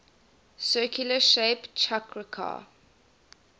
circular shape chakrakar